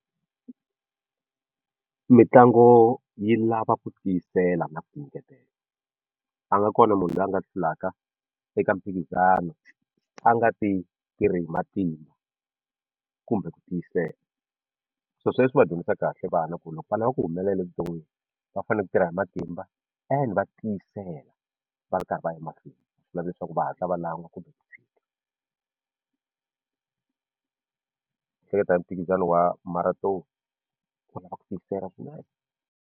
Mitlangu yi lava ku tiyisela na ku tinyiketela a nga kona munhu loyi a nga hlulaka eka mphikizano a nga ti tirhi hi matimba kumbe ku tiyisela sweswo swi va dyondzisa kahle vana ku loko va lava ku humelela vuton'wini va fanele ku tirha hi matimba and va tiyisela va ri karhi va ya emahlweni a swi lavi leswaku va hatla va lan'wa kumbe ku hleketa hi mphikizano wa Marathon ku lava ku tikisela swinene.